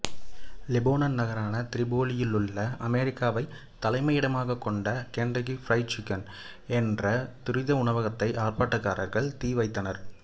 Lebanon நகரான திரிபோலியுள்ள அமெரிக்காவை தலைமையிடமாக கொண்ட கெண்டக்கி பிரைடு சிக்கன் என்ற துரித உணவகத்துக்கு ஆர்ப்பாட்டக்காரர்கள் தீ வைத்தனர்